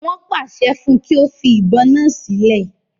Wọ́n pàṣẹ fún un kí ó fi ìbọn náà sílẹ̀